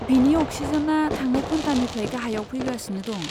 बिनि अक्सिजेना थांनाय घन्टानिफ्राय गाहायाव फैगासिनो दं।